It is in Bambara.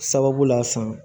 Sababu la san